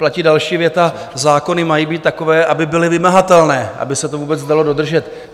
Platí další věta: Zákony mají být takové, aby byly vymahatelné, aby se to vůbec dalo dodržet.